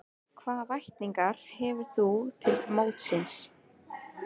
Hvaða væntingar hefur þú til mótsins?